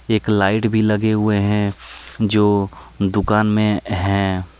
एक लाइट भी लगे हुए हैं जो दुकान में है।